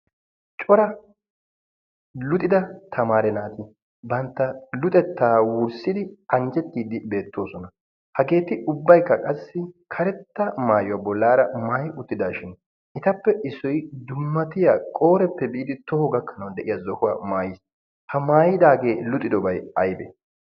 cora luxida tamaara naati bantta luxettaa wurssidi anjjettiiddi beettoosona hageeti ubbaikka qassi karetta maayuwaa bollaara maai uttidaashin itappe issoi dummatiya qooreppe biidi toho gakkanau de7iya zohuwaa maayiis ha maayidaagee luxidobai aibe